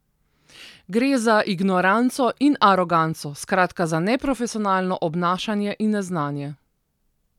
Gre za ignoranco in aroganco, skratka za neprofesionalno obnašanje in neznanje.